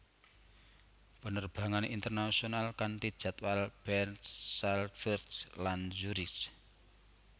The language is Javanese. Penerbangan internasional kanti jadwal Bern Salzburg lan Zurich